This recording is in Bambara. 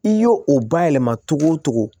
I y'o o bayɛlɛma cogo o cogo